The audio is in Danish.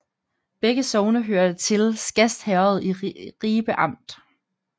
Begge sogne hørte til Skast Herred i Ribe Amt